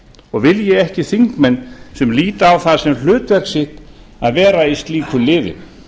og vilji ekki þingmenn sem líta á það sem hlutverk sitt að vera í slíku liði